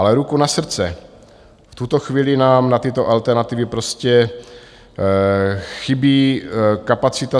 Ale ruku na srdce, v tuto chvíli nám na tyto alternativy prostě chybí kapacita.